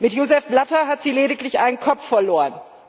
Mit Joseph Blatter hat sie lediglich einen Kopf verloren.